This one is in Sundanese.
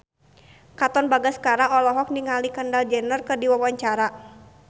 Katon Bagaskara olohok ningali Kendall Jenner keur diwawancara